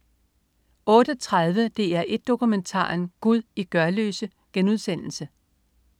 08.30 DR1 Dokumentaren. Gud i Gørløse*